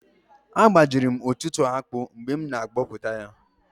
Agbajiri m ọtụtụ akpụ mgbe m na abọpụta ya